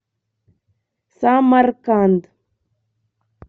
самарканд